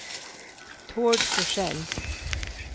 Tord Forsell